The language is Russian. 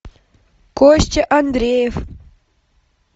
костя андреев